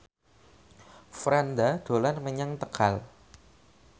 Franda dolan menyang Tegal